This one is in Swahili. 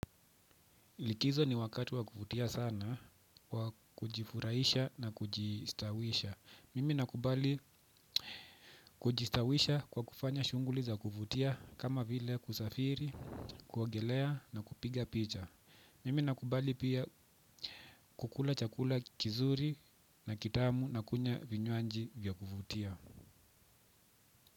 Likizo ni wakati wa kuvutia sana kwa kujifurahisha na kujistawisha. Mimi nakubali kujistawisha kwa kufanya shughuli za kuvutia kama vile kusafiri, kuogelea na kupiga picha. Mimi nakubali pia kukula chakula kizuri na kitamu na kunywa vinywaji vya kuvutia.